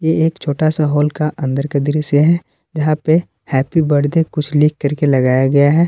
ये एक छोटा सा हॉल का अंदर का दृश्य है जहां पे हैप्पी बर्थडे कुछ लिख करके लगाया गया है।